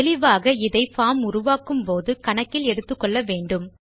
தெளிவாக இதை பார்ம் உருவாக்கும் போது கணக்கில் எடுத்துக்கொள்ள வேண்டும்